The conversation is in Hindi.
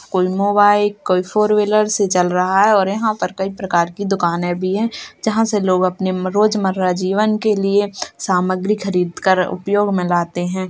कोई मोबाइल कोई फोर व्हीलर से चल रहा है और यहाँ पर कई प्रकार की दुकानें भी हैं जहाँ से लोग अपने रोजमर्रा जीवन के लिए सामग्री खरीद कर उपयोग में लाते हैं।